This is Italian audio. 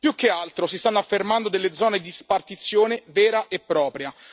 Più che altro si stanno affermando delle zone di spartizione vera e propria